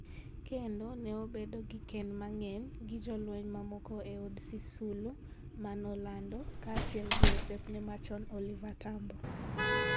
kendo ne obedo gi kinde mang'eny gi jolweny mamoko e od Sisulu man Orlando, kaachiel gi osiepne machon Oliver Tambo.